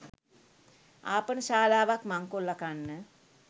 ආපනශාලාවක් මංකොල්ල කන්න